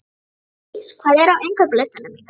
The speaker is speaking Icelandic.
Magndís, hvað er á innkaupalistanum mínum?